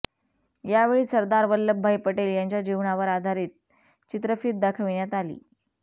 यावेळी सरदार वल्लभभाई पटेल यांच्या जीवनावर आधारीत चित्रफीत दाखविण्यात आली